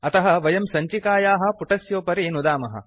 अतः वयं सञ्चिकायाः पुटस्योपरि नुदामः